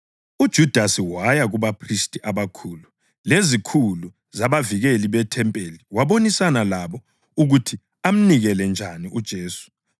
UJudasi waya kubaphristi abakhulu lezikhulu zabavikeli bethempeli wabonisana labo ukuthi amnikele njani uJesu.